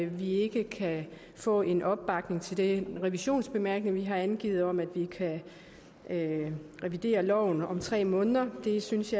vi ikke kan få en opbakning til den revisionsbemærkning vi har angivet om at vi kan revidere loven om tre måneder det synes